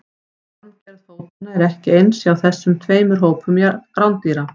Formgerð fótanna er ekki eins hjá þessum tveimur hópum rándýra.